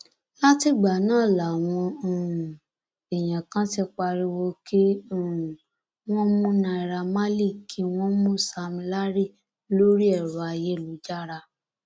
látìgbà náà làwọn um èèyàn kan ti pariwo kí um wọn mú naira marley kí wọn mú sam larry lórí ẹrọ ayélujára